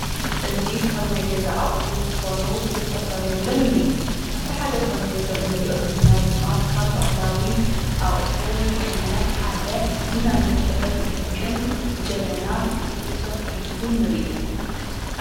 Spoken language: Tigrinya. እዚ ካብ ናይ ገዛ ኣቑሑ ዝኾኑ ክልተ ፈርኔለን ንርኢ ኣብቲ ሓደ ፈኔሎ እንርእዮ ዘለና ድማ ካብ ባህላዊ ኣቑሑ ዝኾነ ሓደ ቡናን መፍለሒ ዝጠቅም ጀበና ተሰኽቲቱ ንርኢ።